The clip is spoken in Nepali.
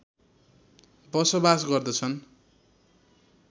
बसोबास गर्दछन्